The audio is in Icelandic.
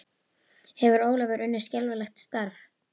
Hefur Ólafur unnið skelfilegt starf?